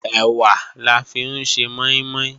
Ẹ̀wà la fi ń ṣe mọ́ín-mọ́ín